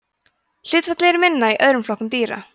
hlutfallið er minna í öðrum flokkum dýra